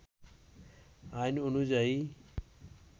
আইন অনুয়ায়ী